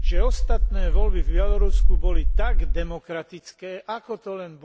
že ostatné voľby v Bielorusku boli tak demokratické, ako to len bolo možné.